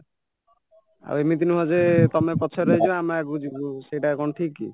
ଆଉ ଏମିତି ନୁହଁ ଯେ ତମେ ପଛରେ ରହିଯିବ ଆମେ ଆଗକୁ ଯିବୁ ସେଇଟା କଣ ଠିକ କି